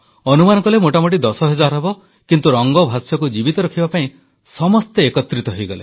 ଅନୁମାନ କଲେ ମୋଟାମୋଟି ଦଶ ହଜାର ହେବ କିନ୍ତୁ ରଙ୍ଗ ଭାଷ୍ୟକୁ ଜୀବିତ ରଖିବା ପାଇଁ ସମସ୍ତେ ଏକତ୍ରିତ ହୋଇଗଲେ